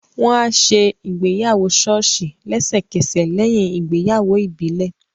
Wọ́n á ṣe ìgbéyàwó ṣọ́ọ̀ṣì lẹ́sẹ̀kẹsẹ̀ lẹ́yìn ìgbéyàwó ìbílẹ̀